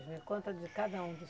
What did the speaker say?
Conta de cada um dos